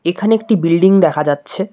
এখানে একটি বিল্ডিং দেখা যাচ্ছে।